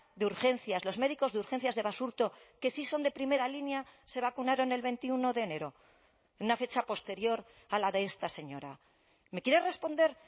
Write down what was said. de urgencias los médicos de urgencias de basurto que si son de primera línea se vacunaron el veintiuno de enero una fecha posterior a la de esta señora me quiere responder